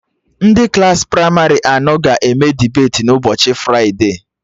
Ndị Klassị pramarị anọ ga-eme debeti na ụbọchị fride